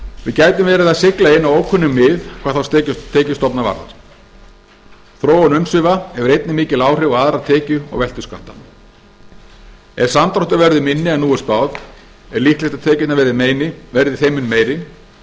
við gætum verið að sigla inn á ókunn mið hvað þá tekjustofna varðar þróun umsvifa hefur einnig mikil áhrif á aðra tekju og veltuskatta ef samdráttur verður minni en nú er spáð er líklegt að tekjurnar verði þeim mun meiri